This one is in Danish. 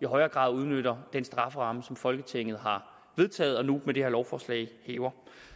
i højere grad udnytter den strafferamme som folketinget har vedtaget og nu med det her lovforslag hæver